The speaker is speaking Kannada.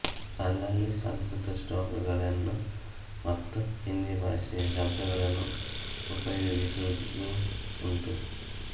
ಅಲ್ಲಲ್ಲಿ ಸಂಸ್ಕೃತ ಶ್ಲೋಕಗಳನ್ನು ಮತ್ತು ಹಿಂದಿ ಭಾಷೆಯ ಶಬ್ಧಗಳನ್ನು ಉಪಯೋಗಿಸುವುದೂ ಉಂಟು